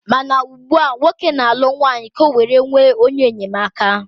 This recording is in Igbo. Mana ugbua, nwoke na-alụ nwanyị ka ọ were nwee onye enyemaka.